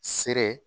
Sere